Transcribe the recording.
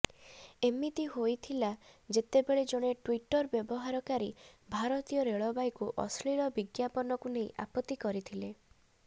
ଏମିତି ହୋଇଥିଲା ଯେତେବେଳେ ଜଣେ ଟୁଇଟର ବ୍ୟବହାରକାରୀ ଭାରତୀୟ ରେଳବାଇକୁ ଅଶ୍ଳୀଳ ବିଜ୍ଞାପନକୁ ନେଇ ଆପତ୍ତି କରିଥିଲା